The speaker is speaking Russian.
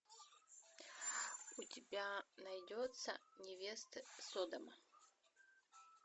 у тебя найдется невесты содома